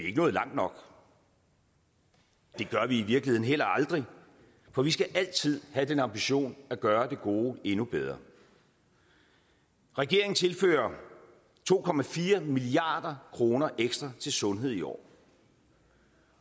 ikke nået langt nok det gør vi i virkeligheden heller aldrig for vi skal altid have den ambition at gøre det gode endnu bedre regeringen tilfører to milliard kroner ekstra til sundhed i år